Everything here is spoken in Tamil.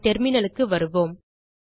நம் terminalக்கு வருவோம்